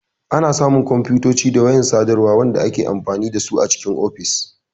Ana samu kwamfutoci da wayan sadarwa wanda ake amfani dasu a cikin ofis.